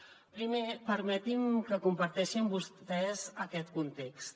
primer permetin me que comparteixi amb vostès aquest context